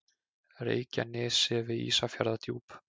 Reykjanesi við Ísafjarðardjúp.